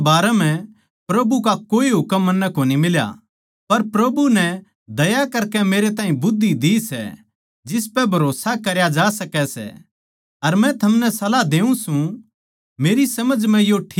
अविवाहितां कै बारै म्ह प्रभु का कोए हुकम मन्नै कोनी मिल्या पर प्रभु नै दया करकै मेरे ताहीं बुध्दी दी सै जिसपै भरोस्सा करया जा सकै सै अर मै थमनै सलाह देऊँ सूं